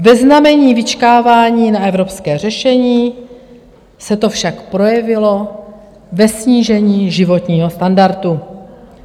Ve znamení vyčkávání na evropské řešení se to však projevilo ve snížení životního standardu.